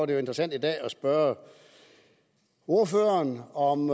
det jo interessant i dag at spørge ordføreren om